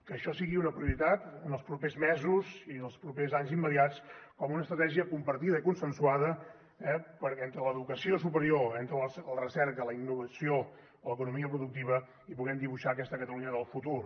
que això sigui una prioritat els propers mesos i els propers anys immediats com una estratègia compartida i consensuada entre l’educació superior la recerca la innovació i l’economia productiva i que puguem dibuixar aquesta catalunya del futur